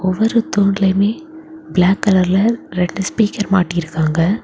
ஒவ்வொரு தூண்லியுமே பிளாக் கலர்ல ரெண்டு ஸ்பீக்கர் மாட்டி இருக்காங்க.